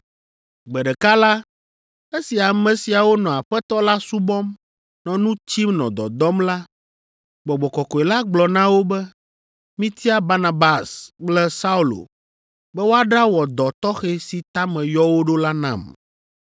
Gbe ɖeka la, esi ame siawo nɔ Aƒetɔ la subɔm, nɔ nu tsim nɔ dɔdɔm la, Gbɔgbɔ Kɔkɔe la gblɔ na wo be, “Mitia Barnabas kple Saulo be woaɖawɔ dɔ tɔxɛ si ta meyɔ wo ɖo la nam.”